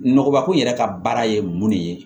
Nɔgɔkun yɛrɛ ka baara ye mun de ye